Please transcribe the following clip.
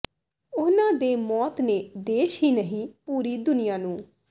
ਉਨ੍ਹਾਂ ਦੇ ਮੌਤ ਨੇ ਦੇਸ਼ ਹੀ ਨਹੀਂ ਪੂਰੀ ਦੁਨੀਆ ਨੂੰ